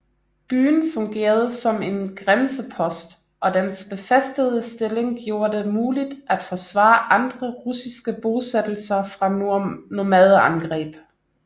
Byen fungerede som en grænsepost og dens befæstede stilling gjorde det muligt at forsvare andre russiske bosættelser fra nomadeangreb